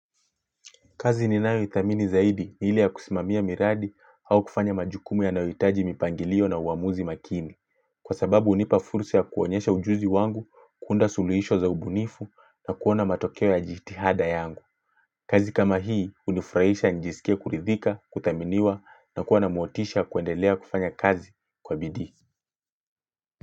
Kazi ninayo idhamini zaidi ni ile ya kusimamia miradi au kufanya majukumu yanayo itaji mipangilio na uamuzi makini. Kwa sababu hunipa fursa ya kuonyesha ujuzi wangu, kuunda suluhisho za ubunifu na kuona matokeo ya jitihada yangu. Kazi kama hii hunifraisha nijisikie kuridhika, kudhaminiwa na kua na motisha ya kuendelea kufanya kazi kwa bidii.